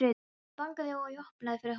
Hann bankaði og ég opnaði fyrir honum.